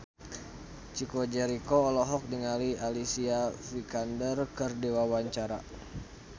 Chico Jericho olohok ningali Alicia Vikander keur diwawancara